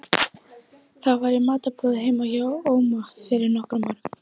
Það var í matarboði heima hjá Óma fyrir nokkrum árum.